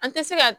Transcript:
An tɛ se ka